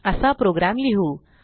असा प्रोग्रॅम लिहू